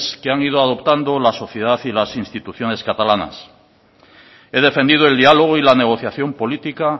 que han ido adoptando la sociedad y las instituciones catalanas he defendido el diálogo y la negociación política